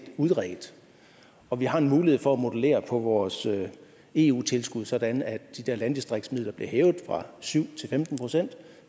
udredt og vi har en mulighed for at modellere vores eu tilskud sådan at de landdistriktsmidler bliver hævet fra syv procent til femten procent